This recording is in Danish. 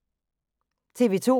TV 2